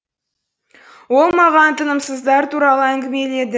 ол маған тынымсыздар туралы әңгімеледі